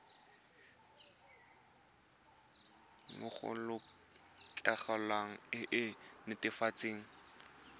go lelokolegolo e e netefatsang